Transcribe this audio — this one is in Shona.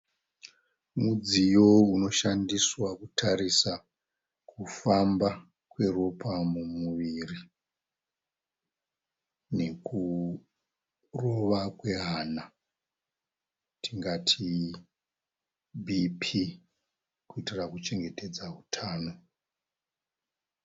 Mudziyo unoshandiswa kutarisa kufamba kweropa mumuviri nekurova kwehana tingati BP kuitira kuchengetedza utano.